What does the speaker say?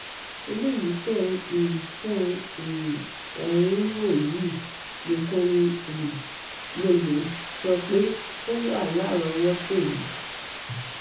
eléyìí tẹ um tẹ um ẹ ń wò yìí nìkan ni um mo lè sọ pé ó wà lárọọwọtó mi